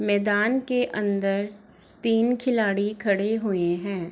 मैदान के अंदर तीन खिलाड़ी खड़े हुए हैं।